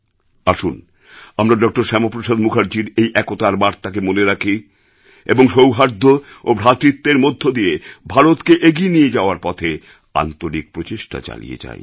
আসুন আমরা ডক্টর শ্যামাপ্রসাদ মুখার্জির এই একতার বার্তাকে মনে রাখি এবং সৌহার্দ্য ও ভ্রাতৃত্বের মধ্য দিয়ে ভারতকে এগিয়ে নিয়ে যাওয়ার পথে আন্তরিক প্রচেষ্টা চালিয়ে যাই